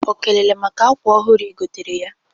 O kelere maka akwa ọhụrụ ị gotere ya?